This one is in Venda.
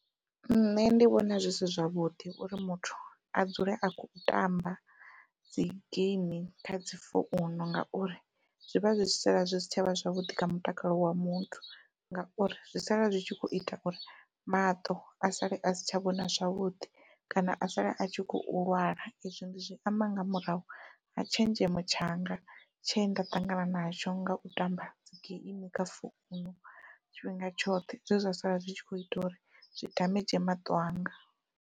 Nṋe ndi vhona zwi si zwavhuḓi uri muthu a dzule a khou tamba dzi geimi kha dzi founu ngauri zwivha zwi sala zwi si tshavha zwavhuḓi kha mutakalo wa muthu, ngauri zwi sala zwi tshi kho ita uri maṱo a sale a si tsha vhona zwavhuḓi kana a sala a tshi khou lwala izwi ndi zwi amba nga murahu ha tshenzhemo tshanga tshe nda ṱangana nazwo ngau tamba dzi geimi kha founu tshifhinga tshoṱhe zwe zwa sala zwi tshi kho ita uri zwi damage maṱo anga.